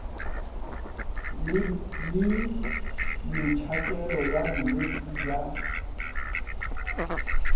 le metšhakelo ya botšweletši bja